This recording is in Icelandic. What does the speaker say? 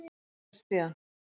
Hvað gerðist síðan?